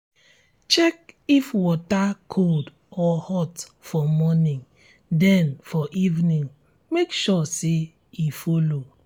check if water cold or hot for morning then um for evening make sure say e follow